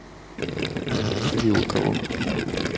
вилкову